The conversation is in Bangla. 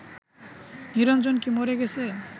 নিরঞ্জন কি মরে গেছে